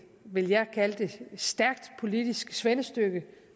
vil jeg kalde det stærkt politisk svendestykke